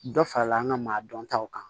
Dɔ farala an ka maa dɔn taw kan